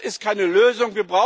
Das ist keine Lösung!